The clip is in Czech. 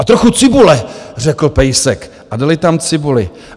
A trochu cibule, řekl pejsek a dali tam cibuli.